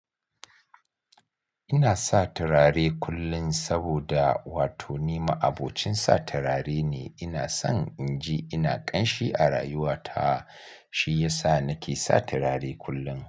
Ina sa turare kullum saboda wato ni ma'abocin sa turare ne. Ina son in ji ina ƙanshi a rayuwa ta, shi ya sa nake sa turare kullum.